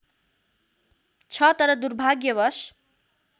छ तर दुर्भाग्यवश